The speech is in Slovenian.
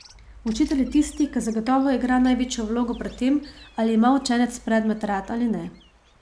Učitelj je tisti, ki zagotovo igra največjo vlogo pri tem, ali ima učenec predmet rad ali ne.